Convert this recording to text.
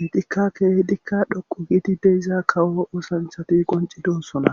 intikka keehidikka dhoqu giidi deiza kawo oosanchati qoncidosona